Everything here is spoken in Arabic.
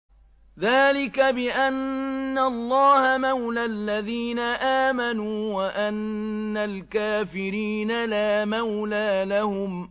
ذَٰلِكَ بِأَنَّ اللَّهَ مَوْلَى الَّذِينَ آمَنُوا وَأَنَّ الْكَافِرِينَ لَا مَوْلَىٰ لَهُمْ